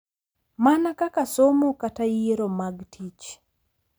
Mana kaka somo kata yiero mag tich,